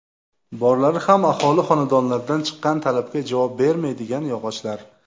Borlari ham aholi xonadonlaridan chiqqan talabga javob bermaydigan yog‘ochlar.